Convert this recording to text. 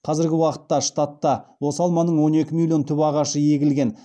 қазіргі уақытта штатта осы алманың он екі миллион түп ағашы егілген